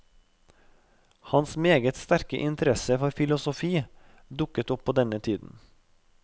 Hans meget sterke interesse for filosofi dukket opp på denne tiden.